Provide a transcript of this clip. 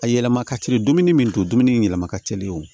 A yɛlɛma ka teli dumuni min to dumuni yɛlɛma ka teli o